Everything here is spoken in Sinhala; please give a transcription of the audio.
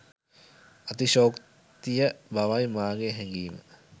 අතිශයෝක්තිය බවයි මාගේ හැගීම